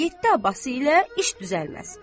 Amma yeddi Abbası ilə iş düzəlməz.